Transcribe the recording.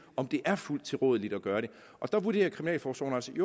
om det er fuldt tilrådeligt at gøre det der vurderer kriminalforsorgen altså vi